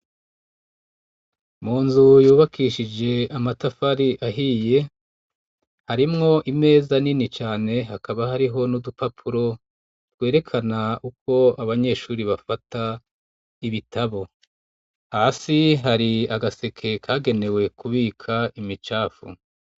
Mu nzu yubakishije amatafari ahiye, harimwo imeza nini cane hakaba hariho n'udupapuro twerekana uko abanyeshuri bafata ibitabo. Hasi hari agaseke kagenewe kubika imicafu.